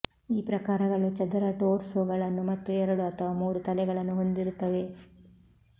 ಈ ಪ್ರಕಾರಗಳು ಚದರ ಟೋರ್ಸೊಗಳನ್ನು ಮತ್ತು ಎರಡು ಅಥವಾ ಮೂರು ತಲೆಗಳನ್ನು ಹೊಂದಿರುತ್ತವೆ